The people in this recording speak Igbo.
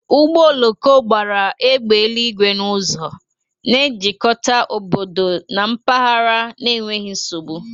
Ụgbọ oloko gbara égbè eluigwe n'ụzọ, na-ejikọta obodo na mpaghara n'enweghị nsogbu.